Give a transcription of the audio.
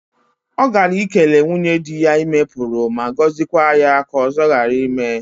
O gala ikele nwunye di ya ime Puru ma gozikwa ya ka ozo gara ime.